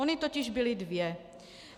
Ony totiž byly dvě.